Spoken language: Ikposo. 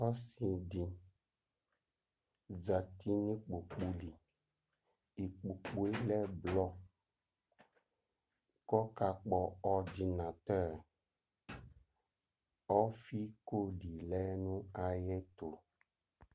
Uvi ɖɩ zati nʋ iƙpoƙu liIƙpoƙu ƴɛ lɛ ɛblɔ; ƙ ʋ ɔƙa ƙpɔ ɔrɖɩnatʋrƆfɩ ƙo ɖɩ lɛ nʋ aƴʋ ɛtʋ